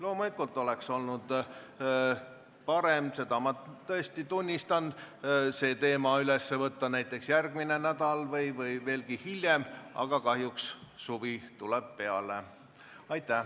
Loomulikult oleks olnud parem, seda ma tõesti tunnistan, see teema üles võtta järgmine nädal või veelgi hiljem, aga kahjuks suvi tuleb peale.